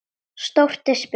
Stórt er spurt.